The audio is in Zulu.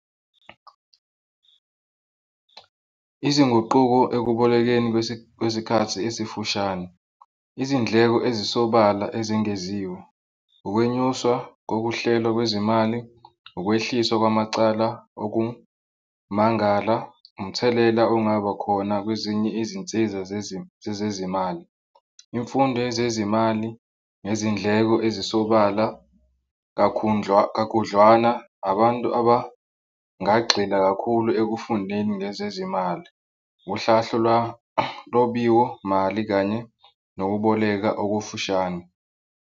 Izinguquko ekubolekeni kwesinye isikhathi esifushane, izindleko ezisobala ezengeziwe, ukwenyuswa kokuhlela kwezimali, ukwehliswa kwamacala okumangala, umthelela ongabakhona kwezinye izinsiza zezezimali, imfundo yezezimali ngezindleko ezisobala kakhudlwana abantu abangagxila kakhulu ekufundeni ngezezimali, uhlahle lwanobiyo mali kanye nokuboleka okufushane.